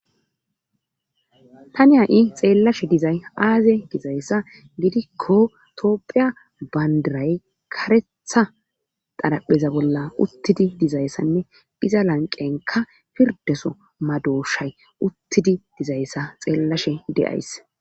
Tani ha'i xeellashe dizay aaze dizayssa gidikko toophphiya bandiray kareeththa xaraphpheza bolla uttidi dizayssanne iza lanqenka pirdeso madoshshay uttidi dizayssa xeellashshe de'ays